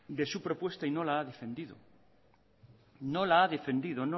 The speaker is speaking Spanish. de su propuesta y no la ha defendido no la defendido